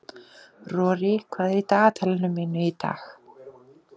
Rorí, hvað er í dagatalinu mínu í dag?